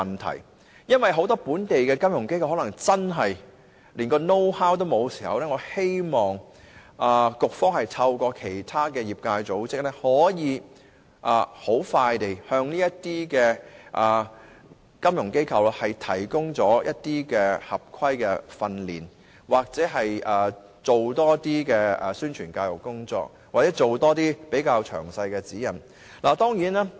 倘若很多本地金融機構真的連 "know how" 都沒有，我希望局方能透過其他業界組織，迅速地向金融機構提供合規格的訓練、同時多作宣傳教育，或發出詳細的指引。